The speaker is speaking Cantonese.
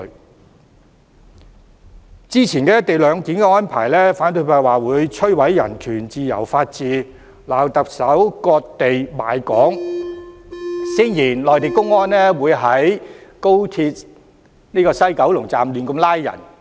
對於早前的"一地兩檢"安排，反對派指會摧毀人權、自由和法治，批評特首"割地賣港"，聲言內地公安會在高鐵西九龍站胡亂作出拘捕。